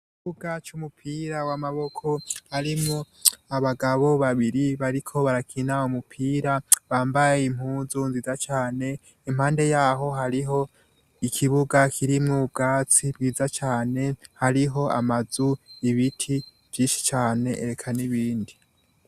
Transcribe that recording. Ugaci umupira wamaboko arimwo abagabo babiri bariko barakina bo mupira bambaye impuzu nziza cane impande yaho hariho ikibuga kirimwo ubwatsi bwiza cane hariho amazu ibiti vyishi cane ereka n'ibindi.